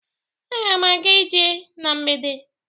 Aga m aga ije na mgbede